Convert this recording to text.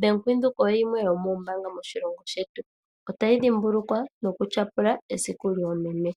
Bank Windhoek oyo yimwe yomoombanga moshilongo shetu. Otayi dhimbulukwa noku tyapula esiku yoomeme .